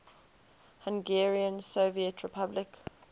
hungarian soviet republic